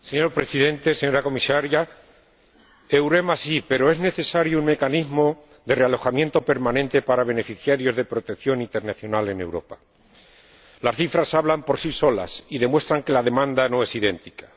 Señor Presidente, señora Comisaria, EUREMA sí, pero es necesario un mecanismo de realojamiento permanente para beneficiarios de protección internacional en Europa. Las cifras hablan por sí solas y demuestran que la demanda no es idéntica.